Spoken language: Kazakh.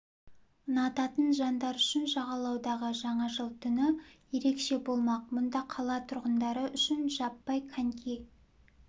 ұнататын жандар үшін жағалаудағы жаңа жыл түні ерекше болмақ мұнда қала тұрғындары үшін жаппай коньки